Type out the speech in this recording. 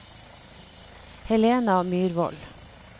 Helena Myrvold